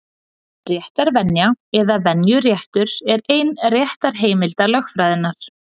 Réttarvenja, eða venjuréttur, er ein réttarheimilda lögfræðinnar.